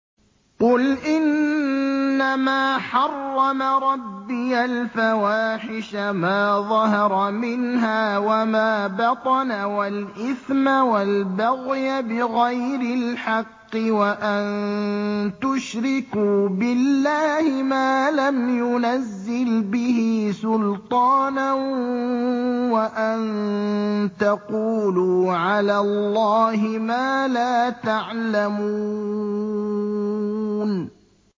قُلْ إِنَّمَا حَرَّمَ رَبِّيَ الْفَوَاحِشَ مَا ظَهَرَ مِنْهَا وَمَا بَطَنَ وَالْإِثْمَ وَالْبَغْيَ بِغَيْرِ الْحَقِّ وَأَن تُشْرِكُوا بِاللَّهِ مَا لَمْ يُنَزِّلْ بِهِ سُلْطَانًا وَأَن تَقُولُوا عَلَى اللَّهِ مَا لَا تَعْلَمُونَ